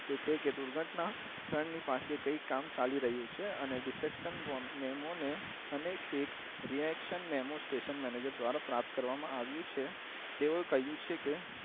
તે છે કે દુર્ઘટના પાસે કઈ કામ ચાલી રહિયું છે અને ડીસેકશન બો મેમો ને અનેક એક રીએક્ષણ મેમો સ્ટેશન મેનેજર દ્વારા પ્રાપ્ત કરવા માં આવિયું છે તેઓ એ કહિયું છે કે